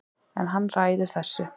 En hann ræður þessu